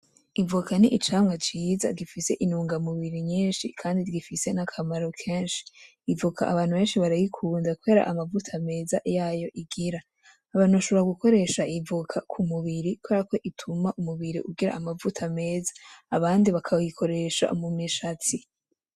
Ivoka n'icamwa ciza gifise intugamubiri nyinshi kandi rifise n'akamaro kenshi, ivoka abantu benshi barayikunda kubera amavuta meza yayo igira. Abantu bashobora gukoresha ivoka k'umubiri kubera ituma umubiri ugira amavuta meza, abandi bakawikoresha mumishatsi.